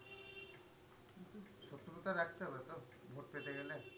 সুবিধা রাখতে হবে তো ভোট পেতে গেলে?